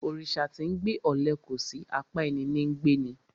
Òrìsà tí 'ńgbe ọle kòsí; apá ẹní ní ńgbe ni.